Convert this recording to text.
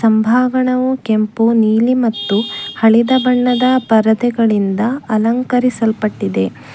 ಮುಂಭಾಗಣವು ಕೆಂಪು ನೀಲಿ ಮತ್ತು ಹಳೆದ ಬಣ್ಣದ ಪರದೆಗಳಿಂದ ಅಲಂಕಾರಿಸಲ್ಪಟ್ಟಿದೆ.